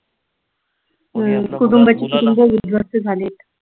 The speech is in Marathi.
हम्म कुटुंबची कुटुंब विध्वस्त झालीत.